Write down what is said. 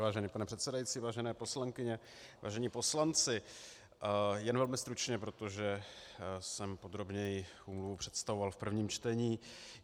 Vážený pane předsedající, vážené poslankyně, vážení poslanci, jen velmi stručně, protože jsem podrobněji úmluvu představoval v prvním čtení.